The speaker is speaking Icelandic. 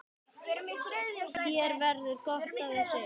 Þér verður gott af þessu